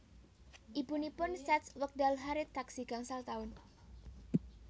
Ibunipun seds wekdal Harriet taksih gangsal tahun